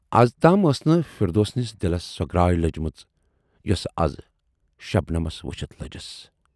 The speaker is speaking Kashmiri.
اَزتام ٲس نہٕ فردوسنِس دِلس سۅ گراے لٔجمٕژ یۅسہٕ اَز شبنمس وُچھِتھ لٔجِس۔